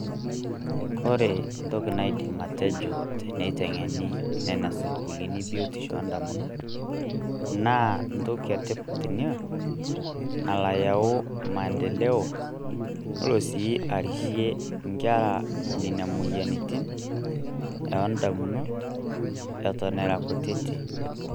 Kore ntoki naidim atejoo teneiteng'eni nenia sukkulini biotisho o damunot, naa ntoki etipaat enia nalo ayau maendeloo elo sii arishe nkerra nenia moyarritin eo damunot eton eraa nkuititi.